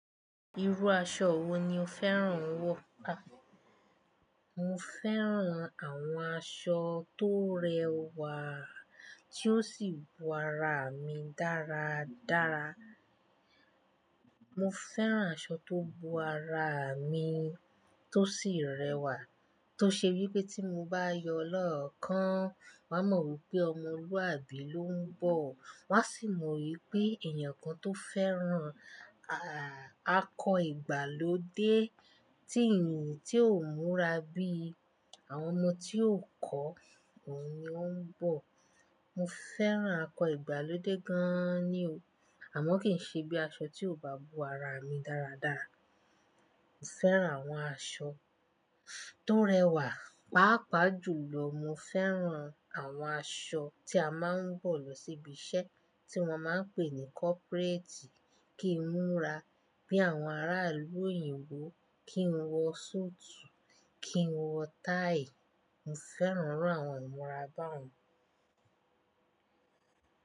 Irú aṣọ wo ni o fẹ́ràn n wọ̀? Mo fẹ́ràn àwọn aṣọ tó rẹwà tí ó sì bo ara mi dáradára. Mo fẹ́ràn aṣọ tó bo ara mi tó sì rẹwà. Tó ṣe wípé tí mo bá yọ lọ́ọ̀kan, wón a mọ̀ wípé ọmọlúwàbí ló ń bọ̀. Wón á sì mọ wípé èèyàn kan tó fẹ́ràn, à, akọ ìgbàlódé tí ènìyàn tí ò múra bí àwọn ọmọ tí ò kọ́, òun ni ó ń bọ̀. Mo fẹ́ràn akọ ìgbàlódé gan-an ni o. Àmọ́ kì n ṣe bí aṣọ tí ò bá bo ara mi dáradára. Mo fẹ́ràn àwọn aṣọ tó rẹwà. Páápàá jùlọ, mo fẹ́ràn àwọn aṣọ tí a máa ń wọ̀ lọ síbi iṣẹ́ tí wón máa ń pè ní corporate kí n múra bí àwọn ará ìlú òyìnbó, kí n wọ súùtù, kí n wọ táì. Mo fẹ́ràn irú àwọn ìmúra bá-un.